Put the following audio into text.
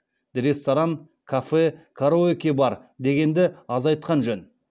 ресторан кафе караоке бар дегенді азайтқан жөн